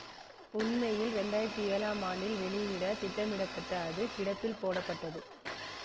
உண்மையில் ரெண்டாயிரத்தி ஏழம் ஆண்டில் வெளியிட திட்டமிடப்பட்ட அது கிடப்பில் போடப்பட்டது